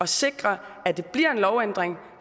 sikre at det bliver en lovændring